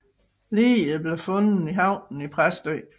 Liget blev fundet i havnen i Præstø